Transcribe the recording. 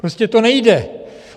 Prostě to nejde!